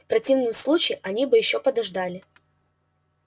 в противном случае они бы ещё подождали